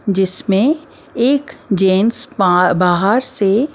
जिसमें एक जेंस बाहर से।